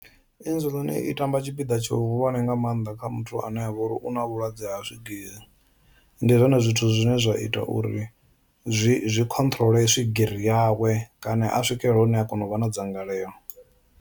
Insulin i tamba tshipiḓa tshihulwane nga maanḓa kha muthu ane avha uri u na vhulwadze ha swigiri, ndi zwone zwithu zwine zwa ita uri zwi zwi khonṱhurole swigiri yawe kana a swikelele hune a kona u vha na dzangalelo.